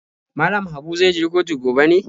Mallam Habu zai je kotu gobe ne?